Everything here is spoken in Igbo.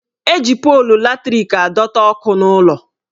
Eji polu latrik adọta ọkụ n'ụlọ